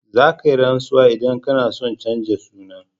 Za ka yi rantsuwa in ka na son chanja suna